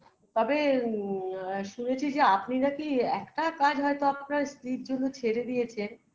তবে মম য়া শুনেছি যে আপনি নাকি একটা কাজ হয় তো আপনার স্ত্রীর জন্য ছেড়ে দিয়েছেন